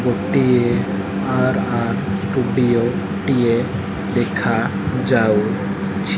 ଗୋଟିଏ R R studio ଟିଏ ଦେଖା ଯାଉ ଛି।